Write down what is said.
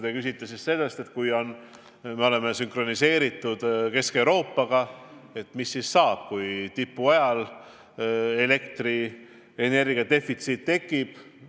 Te küsisite, et kui me ka oleme sünkroniseeritud Kesk-Euroopa võrguga, mis siis saab, kui tipptarbimise ajal elektrienergia defitsiit tekib.